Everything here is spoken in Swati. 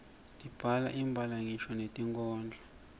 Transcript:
sibhala ngisho netinkhondlo